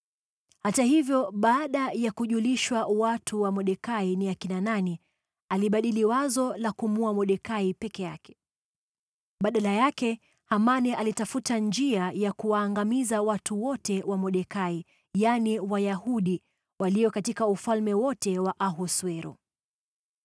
Hata hivyo baada ya kujulishwa watu wa Mordekai ni akina nani, alibadili wazo la kumuua Mordekai peke yake. Badala yake Hamani alitafuta njia ya kuwaangamiza watu wote wa Mordekai, yaani, Wayahudi, walio katika ufalme wote wa Ahasuero.